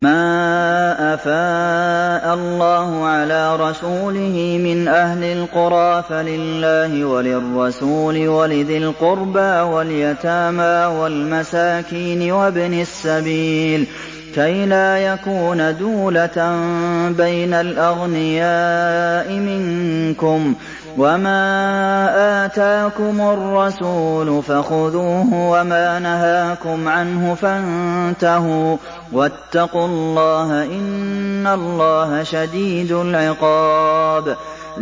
مَّا أَفَاءَ اللَّهُ عَلَىٰ رَسُولِهِ مِنْ أَهْلِ الْقُرَىٰ فَلِلَّهِ وَلِلرَّسُولِ وَلِذِي الْقُرْبَىٰ وَالْيَتَامَىٰ وَالْمَسَاكِينِ وَابْنِ السَّبِيلِ كَيْ لَا يَكُونَ دُولَةً بَيْنَ الْأَغْنِيَاءِ مِنكُمْ ۚ وَمَا آتَاكُمُ الرَّسُولُ فَخُذُوهُ وَمَا نَهَاكُمْ عَنْهُ فَانتَهُوا ۚ وَاتَّقُوا اللَّهَ ۖ إِنَّ اللَّهَ شَدِيدُ الْعِقَابِ